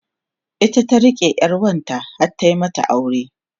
ita ta rike ƴar wanta har ta mata aure